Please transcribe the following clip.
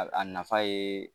A a nafa ye